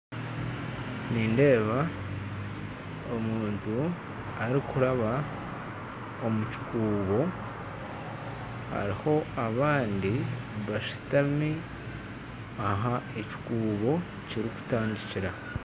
Nindeeba omuntu arikuraaba omu kikuubo, hariho abandi bashutami ahu ekikuubo kirikutandikira